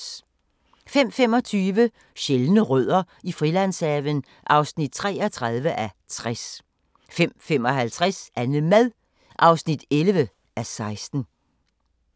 05:25: Sjældne rødder i Frilandshaven (33:60) 05:55: Annemad (11:16)